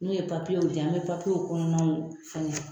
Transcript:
N'u ye papiyew diyan an be papiyew kɔnɔnaw fɛngɛ